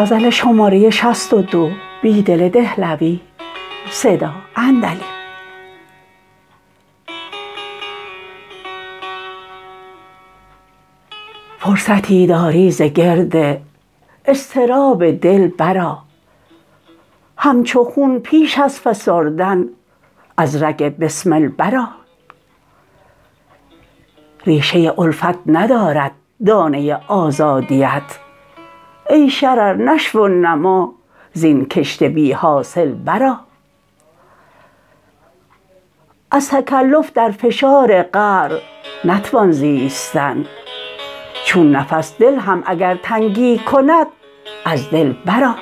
فرصتی داری زگرد اضطراب دل برآ همچوخون پیش ازفسردن از رگ بسمل برآ ریشه الفت ندرد دانه آزادی ات ای شرر نشو و نما زین کشت بیحاصل برآ از تکلف در فشار قعر نتوان زیستن چون نفس دل هم اگرتنگی کند از دل برآ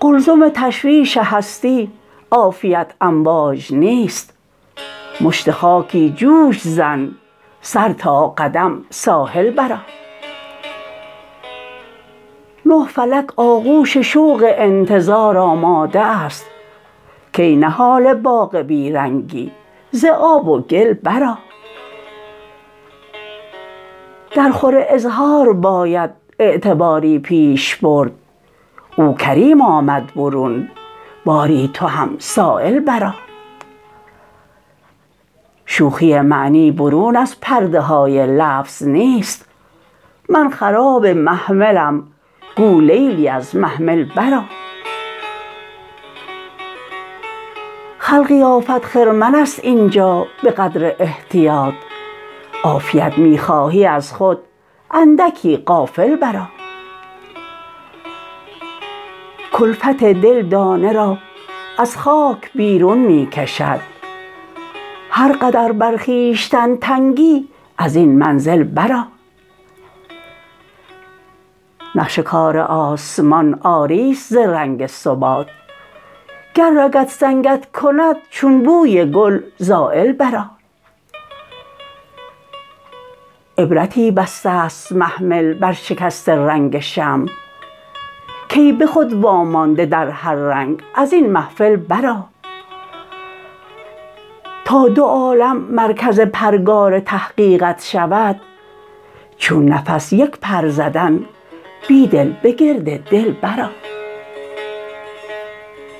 قلزم تشویش هستی عافیت امواج نیست مشت خاکی جوش زن سرتا قدم ساحل برآ نه فلک آغوش شوق انتظار آماده است کای نهال باغ بی رنگی زآب وگل برآ درخور اظهار باید اعتباری پیش برد اوکریم آمد برون باری تو هم سایل برآ شوخی معنی برون از پرده های لفظ نیست من خراب محملم گولیلی از محمل برآ خلقی آفت خرمن است اینجا به قدر احتیاط عافیت می خواهی ازخود اندکی غافل برآ کلفت دل دانه را از خاک بیرون می کشد هرقدر بر خویشتن تنگی ازین منزل برآ نقش کارآسمان عاری ست ز رنگ ثبات گررگ سنگت کند چون بوی گل زایل برآ عبرتی بسته ست محمل برشکست رنگ شمع کای به خود وامانده در هررنگ ازاین محفل برآ تا دو عالم مرکز پرگارتحقیقت شود چون نفس یک پر زدن بیدل به گرد دل برآ